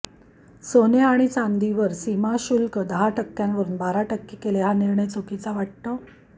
सोने आणि चांदीवर सीमा शुल्क दहा टक्क्यांवरून बारा टक्के केले हा निर्णय चुकीचा वाटतो